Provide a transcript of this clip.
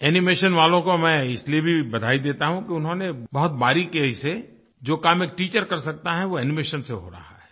animation वालों को मैं इसलिए भी बधाई देता हूँ कि उन्होंने बहुत बारीक़ी से जो काम एक टीचर कर सकता है वो एनिमेशन से हो रहा है